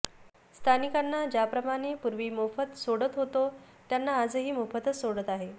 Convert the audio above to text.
स्थानिकांना ज्याप्रमाणे पूर्वी मोफत सोडत होतो त्यांना आजही मोफतच सोडत आहे